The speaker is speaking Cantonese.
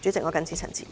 我謹此陳辭。